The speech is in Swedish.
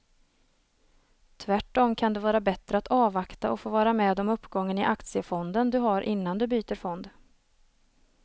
Tvärtom kan det vara bättre att avvakta och få vara med om uppgången i aktiefonden du har innan du byter fond.